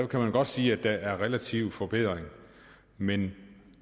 kan man godt sige at der er relativ forbedring men